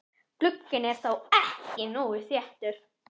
Glugginn er þá ekki nógu þéttur.